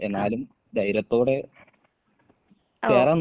ആഹ്. ഓ.